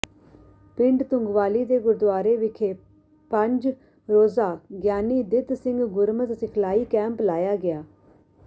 ਪਿੰਡ ਤੁੰਗਵਾਲੀ ਦੇ ਗੁਰਦੁਆਰੇ ਵਿਖੇ ਪੰਜ ਰੋਜ਼ਾ ਗਿਆਨੀ ਦਿੱਤ ਸਿੰਘ ਗੁਰਮਤਿ ਸਿਖਲਾਈ ਕੈਂਪ ਲਾਇਆ ਗਿਆ